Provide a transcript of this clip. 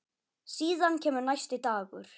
Síðan kemur næsti dagur.